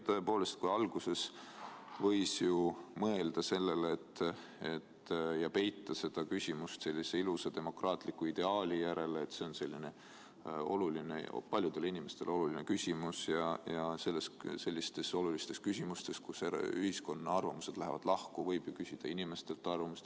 Tõepoolest, alguses võis ju mõelda sellele ja peita seda küsimust sellise ilusa demokraatliku ideaali taha, et see on paljudele inimestele oluline küsimus ja sellistes olulistes küsimustes, kus ühiskonna arvamused lähevad lahku, võib ju küsida inimestelt arvamust.